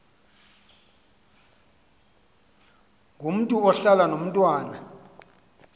ngomntu ohlala nomntwana